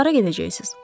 Siz hara gedəcəksiniz?